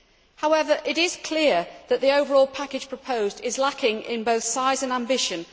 However, it is clear that the overall package proposed is lacking in both size and ambition.